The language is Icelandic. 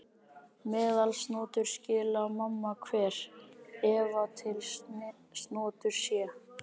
Meðalsnotur skyli manna hver, æva til snotur sé.